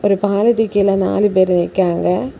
இந்த பாலத்து கீழ நாலு பேரு நிக்காங்க.